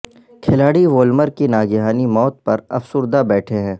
کھلاڑی وولمر کی ناگہانی موت پر افسردہ بیٹھے ہیں